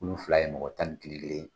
Kulu fila ye mɔgɔ tan ni kelen kelen de ye.